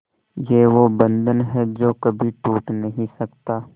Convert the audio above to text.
ये वो बंधन है जो कभी टूट नही सकता